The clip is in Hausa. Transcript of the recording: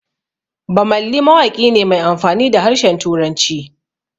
Bammali mawaƙi ne mai amfani da harshen Turanci